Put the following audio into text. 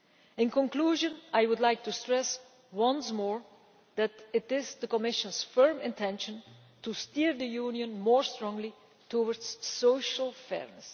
In conclusion, I would like to stress once more that it is the Commission's firm intention to steer the Union more firmly towards social fairness.